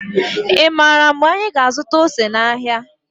i maara mgbe anyị ga azụta ose n' áhiá.